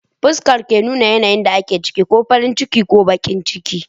Fuskar ke nuna yanayin da ake ciki, ko farin ciki ko bakin ciki